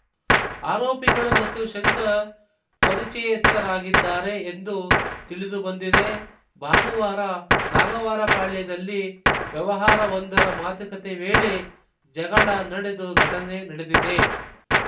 ಆರೋಪಿಗಳು ಮತ್ತು ಶಂಕರ್‌ ಪರಿಚಯಸ್ಥರಾಗಿದ್ದಾರೆ ಎಂದು ತಿಳಿದು ಬಂದಿದೆ ಭಾನುವಾರ ನಾಗವಾರಪಾಳ್ಯದಲ್ಲಿ ವ್ಯವಹಾರವೊಂದರ ಮಾತುಕತೆ ವೇಳೆ ಜಗಳ ನಡೆದು ಘಟನೆ ನಡೆದಿದೆ